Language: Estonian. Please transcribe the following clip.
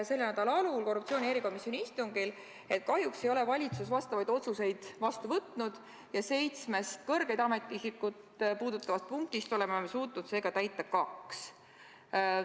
Selle nädala alul selgus korruptsioonivastase erikomisjoni istungil, et kahjuks ei ole valitsus vastavaid otsuseid vastu võtnud ja seitsmest kõrgeid ametiisikuid puudutavast punktist oleme suutnud seega täita kaks.